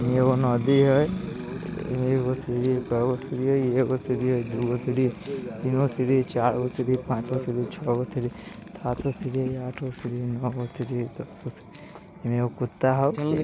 इ एगो नदी हई | इमे एगो सीढ़ी हई कैगो सीढ़ी हई एगो सीढ़ी हईदूगो सीढ़ी हई तीन गो सीढ़ी हई चार गो सीढ़ी हई पांच गो सीढ़ी हई छौ गो सीढ़ी हईसात गो सीढ़ी हईआठ गो सीढ़ी हई नौ गो सीढ़ी हई दस गो सीढ़ी हई | ई में एगो कुत्ता हउ ।